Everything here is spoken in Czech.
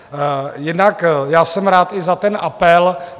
Jinak já jsem rád i za ten apel.